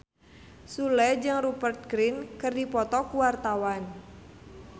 Sule jeung Rupert Grin keur dipoto ku wartawan